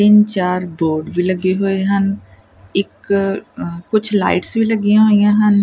ਤਿੰਨ ਚਾਰ ਬੋਰਡ ਵੀ ਲੱਗੇ ਹੋਏ ਹਨ ਇੱਕ ਅ ਕੁਝ ਲਾਈਟਸ ਵੀ ਲੱਗੀਆਂ ਹੋਈਆਂ ਹਨ।